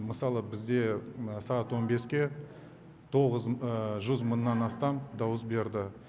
мысалы бізде сағат он беске тоғыз жүз мыннан астам дауыс берді